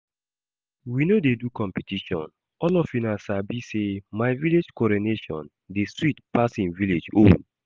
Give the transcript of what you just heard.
We no dey do competition, all of una sabi say my village coronation dey sweet pass im village own